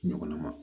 Ɲɔgɔnna ma